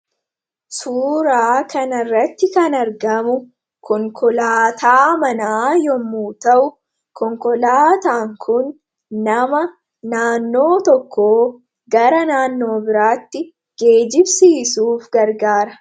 Suuraa kana irratti kan argamu konkolaataa manaa yommu ta'u konkolaataan kun nama naannoo tokkoo gara naannoo biraatti geejibsiisuuf gargaara.